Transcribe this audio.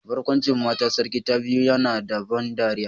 Barkwancin matar sarki ta biyu yana da ban dariya